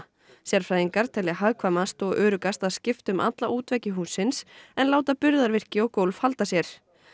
sérfræðingar telja hagkvæmast og öruggast að skipta um alla útveggi hússins en láta burðarvirki og gólf halda sér